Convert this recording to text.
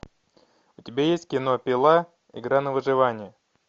у тебя есть кино пила игра на выживание